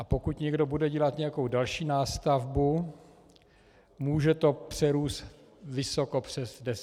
A pokud někdo bude dělat nějakou další nástavbu, může to přerůst vysoko přes deset let.